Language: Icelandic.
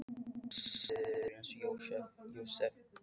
Pabbi er smiður eins og Jósef.